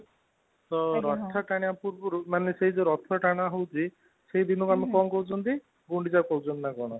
ତ ରଥ ଟାଣିବା ପୂର୍ବରୁ ସେ ଜଉ ରଥ ଟଣା ହେଉଛି ସେ ଦିନ କୁ କଣ କହୁଛନ୍ତି ଗୁଣ୍ଡିଚା ପଞ୍ଚମୀ ନା କଣ